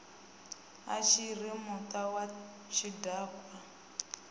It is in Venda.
a tshiri muta wa tshidakwa